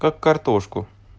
как картошку